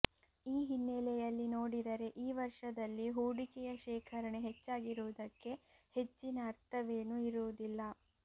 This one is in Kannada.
ಈ ಹಿನ್ನೆಲೆಯಲ್ಲಿ ನೋಡಿದರೆ ಈ ವರ್ಷದಲ್ಲಿ ಹೂಡಿಕೆಯ ಶೇಖರಣೆ ಹೆಚ್ಚಾಗಿರುವುದಕ್ಕೆ ಹೆಚ್ಚಿನ ಅರ್ಥವೇನು ಇರುವುದಿಲ್ಲ